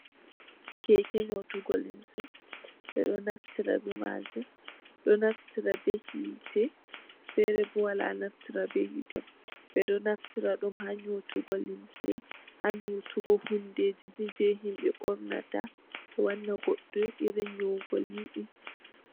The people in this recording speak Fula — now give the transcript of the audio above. Keke nyotugo limse. Ɓe ɗo naftira be maajum, do naftira be hiite, fere bo wala naftira be hiite. Ɓe ɗo naftira ɗum ha nyotugo limse, ha nyotugo hundeeji ni jei himɓe ɓorna ta, wanna goɗɗo irin nyoogol yiɗi.